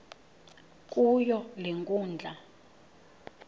kuyo le nkundla